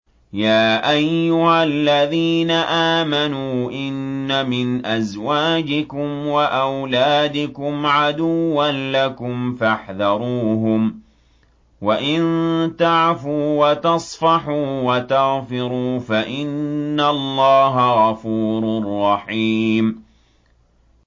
يَا أَيُّهَا الَّذِينَ آمَنُوا إِنَّ مِنْ أَزْوَاجِكُمْ وَأَوْلَادِكُمْ عَدُوًّا لَّكُمْ فَاحْذَرُوهُمْ ۚ وَإِن تَعْفُوا وَتَصْفَحُوا وَتَغْفِرُوا فَإِنَّ اللَّهَ غَفُورٌ رَّحِيمٌ